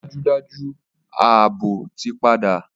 Dájúdájú! Ààbò ti padà